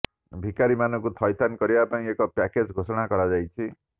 ଭିକାରିମାନଙ୍କୁ ଥଇଥାନ କରିବା ପାଇଁ ଏକ ପ୍ୟାକେଜ ଘୋଷଣା କରାଯାଇଛି